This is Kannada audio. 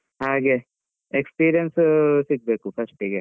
ಹಾಗೆ, experience ಸಿಗ್ಬೇಕು first ಗೆ.